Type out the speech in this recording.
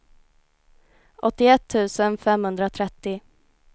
åttioett tusen femhundratrettio